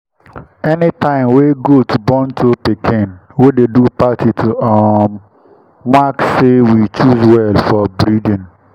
anytime wey goat born two pikin wey dey do party to um mark say we choose well for breeding.